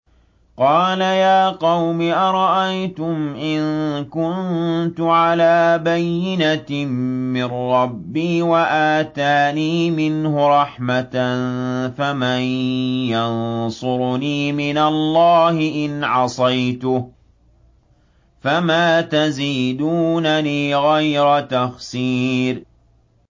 قَالَ يَا قَوْمِ أَرَأَيْتُمْ إِن كُنتُ عَلَىٰ بَيِّنَةٍ مِّن رَّبِّي وَآتَانِي مِنْهُ رَحْمَةً فَمَن يَنصُرُنِي مِنَ اللَّهِ إِنْ عَصَيْتُهُ ۖ فَمَا تَزِيدُونَنِي غَيْرَ تَخْسِيرٍ